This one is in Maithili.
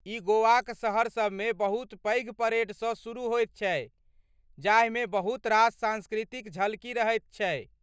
ई गोवाक शहरसभ मे बहुत पैघ परेडसँ शुरू होयत छै जाहिमे बहुत रास सांस्कृतिक झलकी रहैत छै।